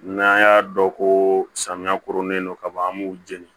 N'an y'a dɔn ko samiya koronnen don ka ban an b'u jeni